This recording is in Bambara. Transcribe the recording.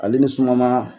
Ale ni suma ma